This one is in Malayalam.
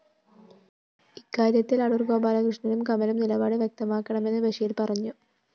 ഇക്കാര്യത്തില്‍ അടൂര്‍ ഗോപാലകൃഷ്ണനും കമലും നിലപാട് വ്യക്തമാക്കണമെന്ന് ബഷീര്‍ പറഞ്ഞു